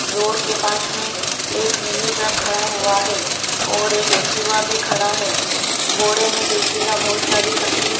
road के पास में एक मिनी ट्रक खड़ा हुआ है और एक एक्टिवा भी खड़ा है बोरे में देखिएगा बहुत सारी सब्जी --